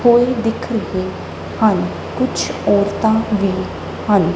ਕੋਈ ਦਿਖਦੇ ਹਨ ਕੁਛ ਔਰਤਾਂ ਵੀ ਹਨ।